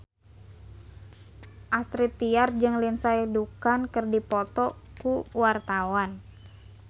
Astrid Tiar jeung Lindsay Ducan keur dipoto ku wartawan